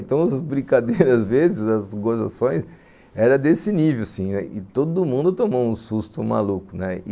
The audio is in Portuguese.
Então, as brincadeiras, às vezes, as gozações eram desse nível, assim, e todo mundo tomou um susto maluco, né?